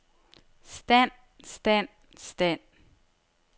stand stand stand